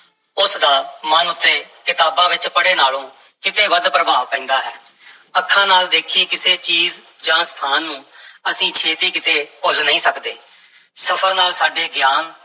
ਉਸ ਦਾ ਮਨ ਉੱਤੇ ਕਿਤਾਬਾਂ ਵਿੱਚ ਪੜ੍ਹੇ ਨਾਲੋਂ ਕਿਤੇ ਵੱਧ ਪ੍ਰਭਾਵ ਪੈਂਦਾ ਹੈ ਅੱਖਾਂ ਨਾਲ ਦੇਖੀ ਕਿਸੇ ਚੀਜ਼ ਜਾਂ ਸਥਾਨ ਨੂੰ ਅਸੀਂ ਛੇਤੀ ਕਿਤੇ ਭੁੱਲ ਨਹੀਂ ਸਕਦੇ, ਸਫ਼ਰ ਨਾਲ ਸਾਡੇ ਗਿਆਨ